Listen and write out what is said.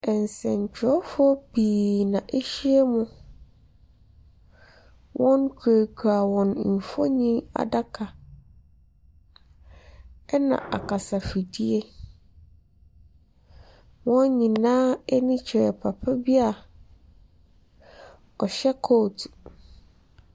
Nsɛntwerɛfoɔ pii n'ahyiam. Wɔkurakura wɔn nfonniadaka ɛna akasa fidie. Wɔn nyinaa ani kyerɛ papa bi a ɔhyɛ coat.